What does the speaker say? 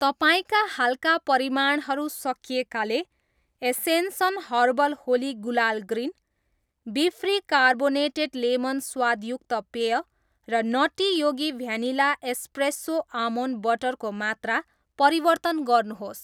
तपाईँका हालका परिमाणहरू सकिएकाले Ascension herbal Holi gulal green, befree carbonated lemon स्वादयुक्त पेय र nutty Yogi vanilla espresso almond butter को मात्रा परिवर्तन गर्नुहोस्।